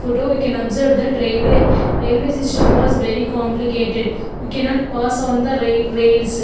photo we can observe that raiwlay railway system was very complicated we cannot pass on the rail rails.